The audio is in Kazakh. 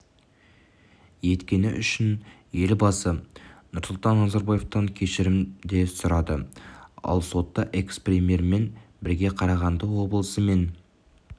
еткені үшін елбасы нұрсұлтан назарбаевтан кешірім де сұрады ал сотта экс-премьермен бірге қарағанды облысы мен